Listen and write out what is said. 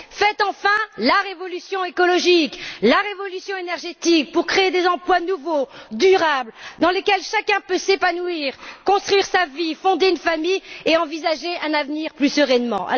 Faites enfin la révolution écologique, la révolution énergétique, pour créer des emplois nouveaux, durables, dans lesquels chacun peut s'épanouir, construire sa vie, fonder une famille et envisager un avenir plus sereinement.